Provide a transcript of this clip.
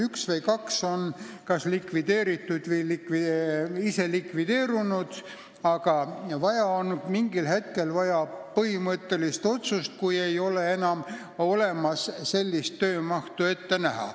Üks või kaks nendest on likvideeritud või ise likvideerunud, aga mingil hetkel, kui ei ole enam ette näha piisavat töömahtu, on vaja põhimõttelist otsust.